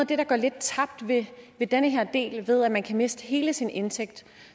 det der går lidt tabt ved den her del altså ved at man kan miste hele sin indtægt